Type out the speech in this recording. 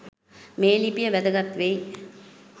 මේ ලිපිය වැදගත් වෙයි.